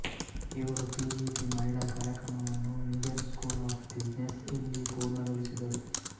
ಇವರು ಪಿಜಿಪಿ ಮಹಿಳಾ ಕಾರ್ಯಕ್ರಮವನ್ನು ಇಂಡಿಯನ್ ಸ್ಕೂಲ್ ಆಪ್ ಬುಸ್ಸಿನೆಸ್ಸ್ ಇಲ್ಲಿ ಪೂರ್ಣಗೊಳಿಸಿದರು